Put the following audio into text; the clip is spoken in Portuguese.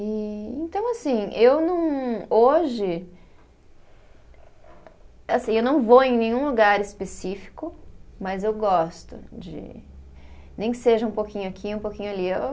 E então, assim, eu não. Hoje, assim, eu não vou em nenhum lugar específico, mas eu gosto de, nem que seja um pouquinho aqui, um pouquinho ali.